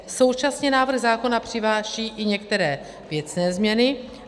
Současně návrh zákona přináší i některé věcné změny.